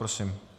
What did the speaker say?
Prosím.